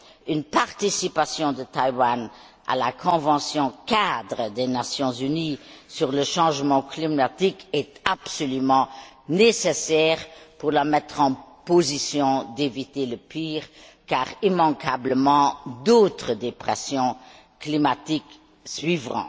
Une participation de Taïwan à la convention cadre des Nations unies sur les changements climatiques est absolument nécessaire pour la mettre en position d'éviter le pire car, immanquablement, d'autres dépressions climatiques suivront.